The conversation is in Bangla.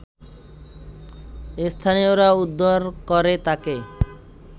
স্থানীয়রা উদ্ধার করে তাকে